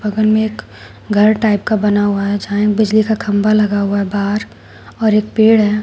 बगल में एक घर टाइप का बना हुआ है जहां एक बिजली का खंभा लगा हुआ है बाहर और एक पेड़ है।